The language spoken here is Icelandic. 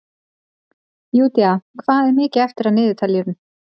Júdea, hvað er mikið eftir af niðurteljaranum?